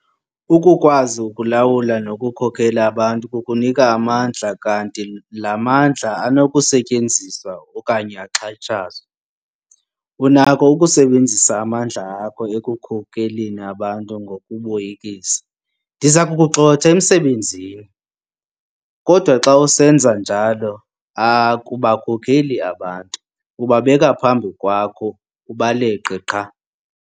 Ukukwazi ukulawula nokukhokela abantu kukunika amandla kanti la mandla anokusetyenziswa okanye axhatshazwe. Unakho ukusebenzisa amandla akho ekukhokeleni abantu ngokuboyikisa - 'Ndiza kukugxotha emsebenzini' - kodwa xa usenza njalo akubakhokeli abantu, ubabeka phambi kwakho ubaleqe qha.